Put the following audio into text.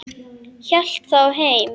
Hélt þá heim.